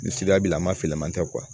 Ni sida b'i la maa fila man tɛ